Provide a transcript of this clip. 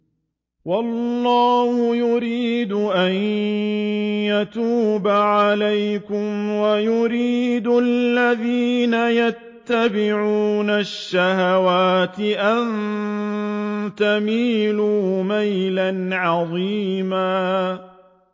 وَاللَّهُ يُرِيدُ أَن يَتُوبَ عَلَيْكُمْ وَيُرِيدُ الَّذِينَ يَتَّبِعُونَ الشَّهَوَاتِ أَن تَمِيلُوا مَيْلًا عَظِيمًا